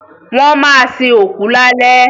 Wọ́n ma sin òkú lálẹ́